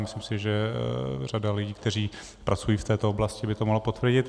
Myslím si, že řada lidí, kteří pracují v této oblasti, by to mohla potvrdit.